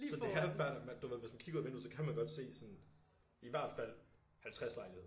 Så det er fair nok man du ved hvis man kigger ud af vinduet så kan man godt se sådan i hvert fald 50 lejligheder